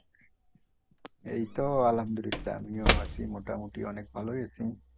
এইতো আলহামদুলিল্লা আমিও আছি মোটামুটি অনেক ভালই আছি।